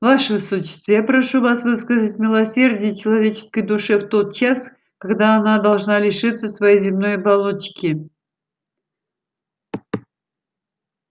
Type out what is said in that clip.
ваше высочество я прошу вас выказать милосердие человеческой душе в тот час когда она должна лишиться своей земной оболочки